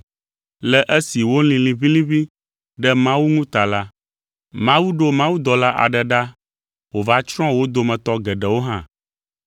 Le esi wolĩ liʋĩliʋĩ ɖe Mawu ŋu ta la, Mawu ɖo mawudɔla aɖe ɖa wòva tsrɔ̃ wo dometɔ geɖewo hã.